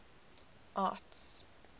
arts